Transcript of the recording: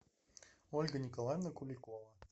ольга николаевна куликова